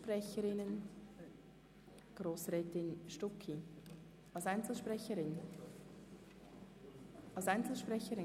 Wir kommen somit zu den Einzelsprecherinnen und -sprechern.